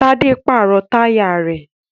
Tádé pàrọ̀ táyà rẹ̀